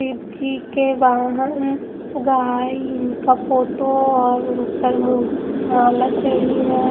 शिव जी के वाहन गाई इनका फोटो और उन पर म माला चढ़ी है ।